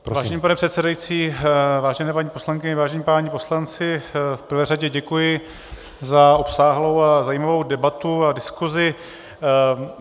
Vážený pane předsedající, vážené paní poslankyně, vážení páni poslanci, v prvé řadě děkuji za obsáhlou a zajímavou debatu a diskusi.